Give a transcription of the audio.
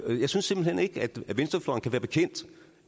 jeg synes simpelt hen ikke at venstrefløjen kan være bekendt